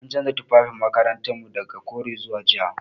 An canza tufafin makarantar mu daga kore zuwa ja.